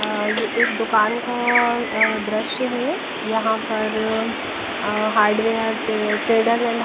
ये एक दुकान का अह दृश्य है यहां पर अह हार्डवेयर ट्रेडर्स एंड --